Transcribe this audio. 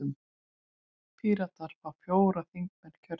Píratar fá fjóra þingmenn kjörna.